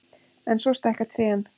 En svo stækka trén.